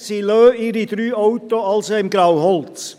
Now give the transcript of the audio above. Sie lassen also drei Autos im Grauholz.